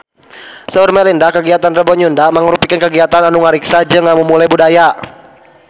Saur Melinda kagiatan Rebo Nyunda mangrupikeun kagiatan anu ngariksa jeung ngamumule budaya Sunda